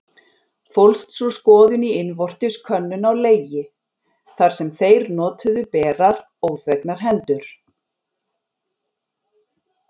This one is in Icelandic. Fólst sú skoðun í innvortis könnun á legi, þar sem þeir notuðu berar, óþvegnar hendur.